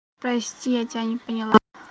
прости я тебя не поняла